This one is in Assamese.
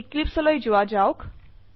এক্লিপছে লৈ যোৱা যাওক